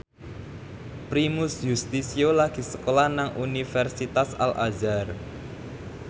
Primus Yustisio lagi sekolah nang Universitas Al Azhar